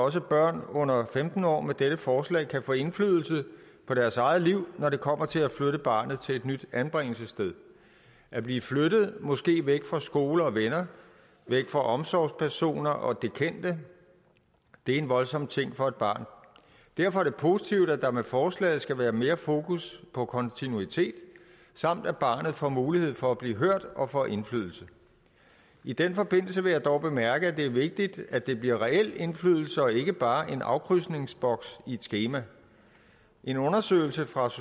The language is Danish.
også børn under femten år med dette forslag kan få indflydelse på deres eget liv når det kommer til at flytte barnet til et nyt anbringelsessted at blive flyttet måske væk fra skole og venner væk fra omsorgspersoner og det kendte er en voldsom ting for et barn derfor er det positivt at der med forslaget skal være mere fokus på kontinuitet samt at barnet får mulighed for at blive hørt og får indflydelse i den forbindelse vil jeg dog bemærke at det er vigtigt at det bliver reel indflydelse og ikke bare en afkrydsningsboks i et skema en undersøgelse fra